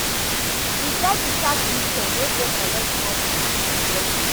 E get di tax system wey dey collect more from pipo wey get